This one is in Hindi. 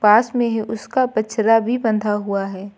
पास में ही उसका बछड़ा भी बंधा हुआ है।